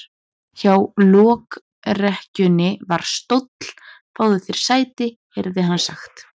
Hjá lokrekkjunni var stóll:-Fáðu þér sæti, heyrði hann sagt.